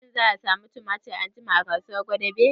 Shin za a samu tumatir anjima a kasuwar gwadabe?